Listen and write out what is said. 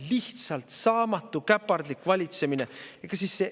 Lihtsalt saamatu, käpardlik valitsemine!